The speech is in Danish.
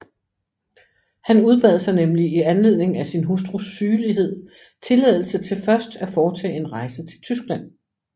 Han udbad sig nemlig i anledning af sin hustrus sygelighed tilladelse til først at foretage en rejse til Tyskland